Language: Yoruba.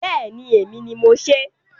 Bẹẹni. Èmi ni mo sè é.